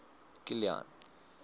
kilian